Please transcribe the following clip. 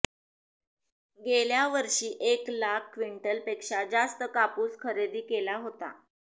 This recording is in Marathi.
गेल्या वर्षी एक लाख क्विंटल पेक्षा जास्त कापूस खरेदी केला होता